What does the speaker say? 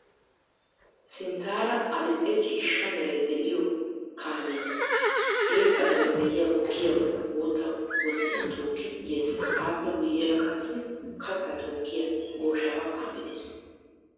Sinttaara adil"e ciishsha meray de'iyo kaamee eexxana danddayiya gukkiyabata bootta bottiyan tookkidi yees. Appe guyyeera qassi kattaa tookkiya gooshaawa kaamee de'es.